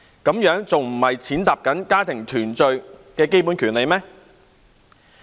這樣不是踐踏家庭團聚的基本權利嗎？